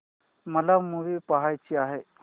मला मूवी पहायचा आहे